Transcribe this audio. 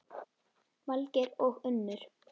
Valgeir og Unnur.